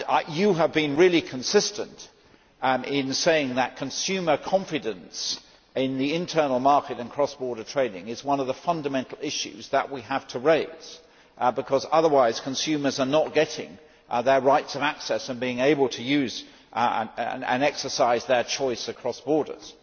You have been really consistent in saying that consumer confidence in the internal market and cross border trading is one of the fundamental issues that we have to raise, because otherwise consumers are not getting their rights of access and being able to use and exercise their choice across borders.